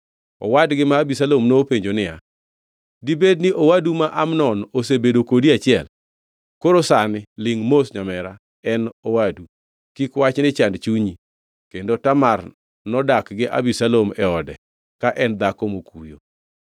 Owadgi ma Abisalom nopenjo niya, “Dibedni owadu ma Amnon osebedo kodi e achiel? Koro sani lingʼ mos nyamera; en owadu. Kik wachni chand chunyi.” Kendo Tamar nodak gi Abisalom e ode, ka en dhako mokuyo.